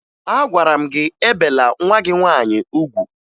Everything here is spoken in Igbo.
Agwara m gị ebela nwa gị nwaanyị ugwu!